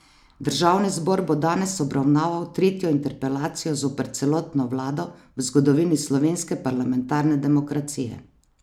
Državni zbor bo danes obravnaval tretjo interpelacijo zoper celotno vlado v zgodovini slovenske parlamentarne demokracije.